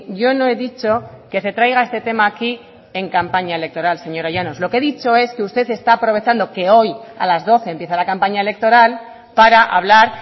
yo no he dicho que se traiga este tema aquí en campaña electoral señora llanos lo que he dicho es que usted está aprovechando que hoy a las doce empieza la campaña electoral para hablar